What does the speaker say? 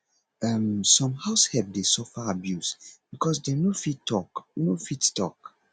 um some househelp de suffer abuse cause dem no fit talk no fit talk